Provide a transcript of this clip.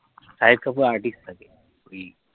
shahid kapoor artist থাকে